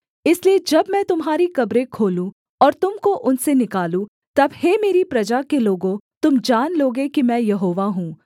इसलिए जब मैं तुम्हारी कब्रें खोलूँ और तुम को उनसे निकालूँ तब हे मेरी प्रजा के लोगों तुम जान लोगे कि मैं यहोवा हूँ